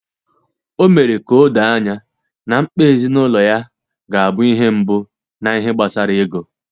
Ọ mere ka o doo ànyá na mkpa ezinụlọ ya ga-abụ ihe mbụ n’ihe gbasara ego.